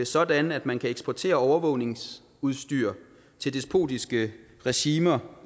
sådan at man kan eksportere overvågningsudstyr til despotiske regimer